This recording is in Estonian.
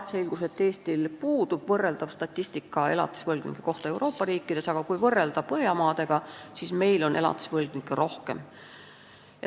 Selgus, et Eestil puudub võrreldav statistika elatisvõlgnike kohta Euroopa riikides, aga kui meid võrrelda Põhjamaadega, siis on meil elatisvõlgnikke rohkem.